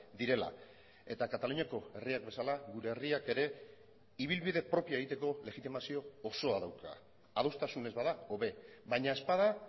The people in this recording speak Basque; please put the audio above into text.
direla eta kataluniako herriak bezala gure herriak ere ibilbide propioa egiteko legitimazio osoa dauka adostasunez bada hobe baina ez bada